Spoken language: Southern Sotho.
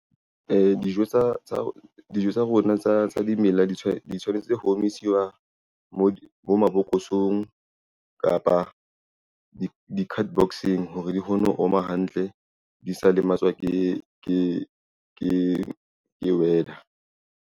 Dijo tsa rona tsa dimela di tshwanetse ho o misiwa mo mabokosong kapa di-card box-eng hore di kgone ho oma hantle, di sa lematswa ke weather.